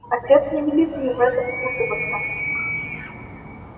отец не велит мне в это впутываться